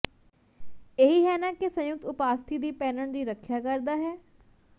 ਇਹ ਹੀ ਹੈ ਨਾ ਕਿ ਸੰਯੁਕਤ ਉਪਾਸਥੀ ਦੀ ਪਹਿਨਣ ਦੀ ਰੱਖਿਆ ਕਰਦਾ ਹੈ